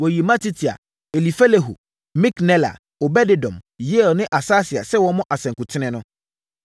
Wɔyii Matitia, Elifelehu, Miknela, Obed-Edom, Yeiel ne Asasia sɛ wɔmmɔ asankuten no.